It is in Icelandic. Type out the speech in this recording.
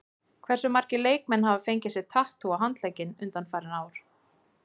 Hversu margir leikmenn hafa fengið sér tattú á handlegginn undanfarið ár?